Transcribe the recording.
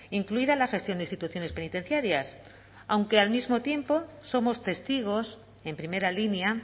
incluida la gestión de instituciones penitenciarias aunque al mismo tiempo somos testigos en primera línea